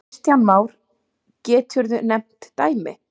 Kristján Már: Geturðu nefnt dæmi?